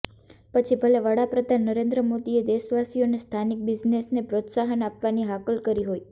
પછી ભલે વડા પ્રધાન નરેન્દ્ર મોદીએ દેશવાસીઓને સ્થાનિક બિઝનેસને પ્રોત્સાહન આપવાની હાકલ કરી હોય